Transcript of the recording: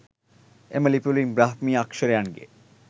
එම ලිපිවලින් බ්‍රාහ්මීය අක්ෂරයන්ගේ